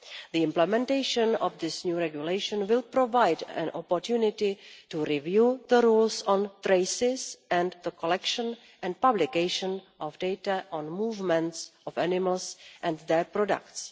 The implementation of this new regulation will provide an opportunity to review the rules on traces and the collection and publication of data on the movements of animals and their products.